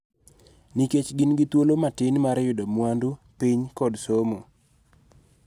Nikech gin gi thuolo matin mar yudo mwandu, piny, kod somo,